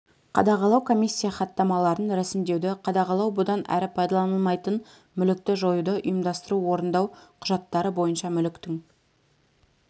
қадағалау комиссия хаттамаларын рәсімдеуді қадағалау бұдан әрі пайдаланылмайтын мүлікті жоюды ұйымдастыру орындау құжаттары бойынша мүліктің